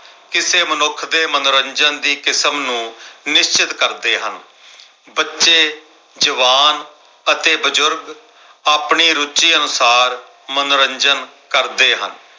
ਕਿਸੇ ਮਨੁੱਖ ਦੇ ਮਨੋਰੰਜਨ ਦੀ ਕਿਸਮ ਨੂੰ ਨਿਸ਼ਚਤ ਕਰ ਦੇ ਹਾਂ। ਬੱਚੇ, ਜਵਾਨ ਅਤੇ ਬਜ਼ੁਰਗ ਆਪਣੀ ਰੁਚੀ ਅਨੁਸਾਰ ਮਨੋਰੰਜਨ ਕਰਦੇ ਹਨ।